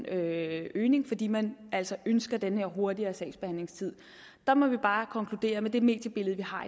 øgningen fordi man altså ønsker en hurtigere sagsbehandlingstid der må vi bare konkludere at med det mediebillede vi har